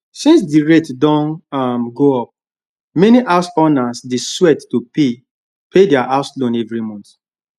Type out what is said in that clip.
since the rate don um go up many house owners dey sweat to pay pay their house loan every month